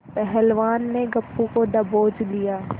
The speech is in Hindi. पहलवान ने गप्पू को दबोच लिया